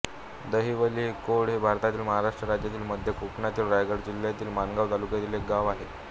दहिवली कोंड हे भारतातील महाराष्ट्र राज्यातील मध्य कोकणातील रायगड जिल्ह्यातील माणगाव तालुक्यातील एक गाव आहे